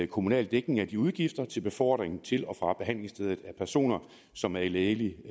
kommunal dækning af de udgifter til befordring til og fra behandlingsstedet af personer som er i lægelig